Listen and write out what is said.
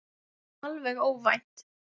Alveg óvænt!